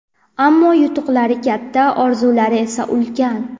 Ammo yutuqlari katta, orzulari esa ulkan.